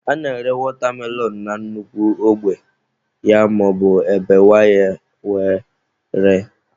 A na-ere watermelon na nnukwu ogbe ya maọbu e bewaa ya were ree.